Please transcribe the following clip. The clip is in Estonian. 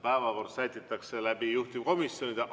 Päevakord sätitakse koos juhtivkomisjonidega.